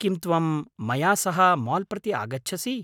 किं त्वं मया सह माल् प्रति आगच्छसि?